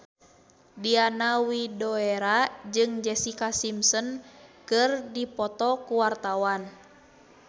Diana Widoera jeung Jessica Simpson keur dipoto ku wartawan